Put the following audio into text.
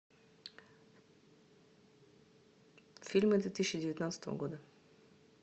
фильмы две тысячи девятнадцатого года